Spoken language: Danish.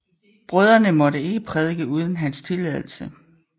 Brødrene måtte ikke prædike uden hans tilladelse